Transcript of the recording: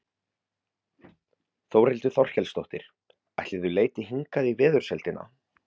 Þórhildur Þorkelsdóttir: Ætli þau leiti hingað í veðursældina?